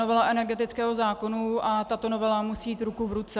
Novela energetického zákona a tato novela musejí jít ruku v ruce.